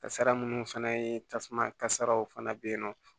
Kasara munnu fana ye tasuma kasaraw fana bɛ yen nɔ